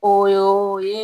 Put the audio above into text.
O oo y'o ye